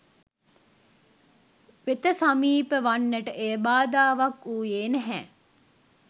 වෙත සමීප වන්නට එය බාධාවක් වුයේ නැහැ.